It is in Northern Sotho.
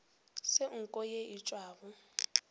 se nko ye e tšwago